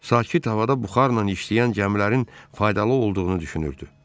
Sakit havada buxarla işləyən gəmilərin faydalı olduğunu düşünürdü.